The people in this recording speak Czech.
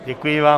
Děkuji vám.